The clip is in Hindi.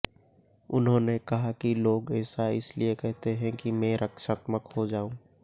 उन्होंने कहा कि लोग ऐसा इस लिए कहते हैं कि मैं रक्षात्मक हो जाऊं